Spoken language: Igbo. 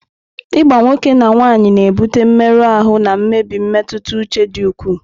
Ịgba nwoke na nwaanyị na-ebute mmerụ ahụ na mmebi mmetụta uche dị ukwuu.